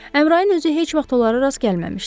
Əmrayin özü heç vaxt onlara rast gəlməmişdi.